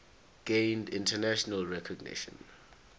gained international recognition